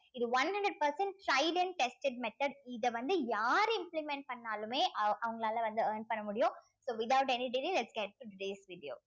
இது one hundred percent and tested method இத வந்து யாரு implement பண்ணாலுமே அவங்~ அவங்களால வந்து earn பண்ண முடியும் so without any degree lets get days video